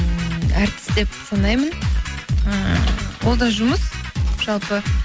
ммм әртіс деп санаймын ыыы ол да жұмыс жалпы